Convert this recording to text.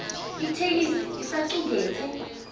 itheksthi isacuketse